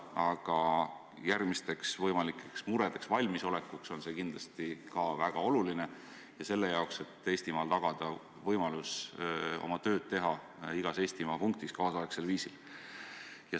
Aga järgmisteks võimalikeks muredeks valmisoleku seisukohalt on see kindlasti väga oluline, ka selle jaoks, et tagada võimalus igas Eestimaa punktis oma tööd teha kaasaegsel viisil.